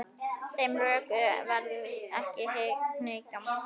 Þeim rökum varð ekki hnikað.